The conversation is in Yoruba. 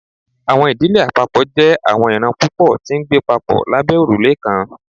Awọn idile apapọ jẹ awọn iran pupọ ti ngbe papọ labẹ orule kan